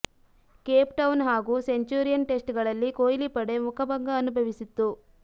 Cape Town ಹಾಗೂ Centurion test ಗಳಲ್ಲಿ ಕೊಹ್ಲಿ ಪಡೆ ಮುಖಭಂಗ ಅನುಭವಿಸಿತ್ತು